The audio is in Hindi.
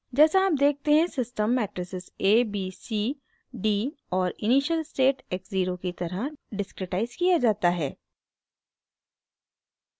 जैसा आप देखते हैं system matrices a b c d और इनिशियल स्टेट x ज़ीरो की तरह डिस्क्रिटाइज़ किया जाता है